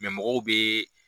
mɔgɔw bɛ